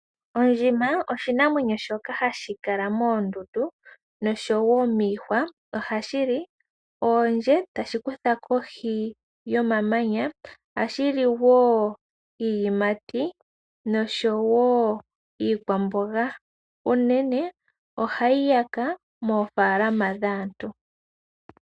Ondjima oshinamwenyo shoka hashi kala moondundu noshowo miihwa. Ohashi li oondje tashi kutha kohi yomamanya, ohashi li wo iiyimati noshowo iikwamboga, unene ohayi yaka moofaalama dhaantu.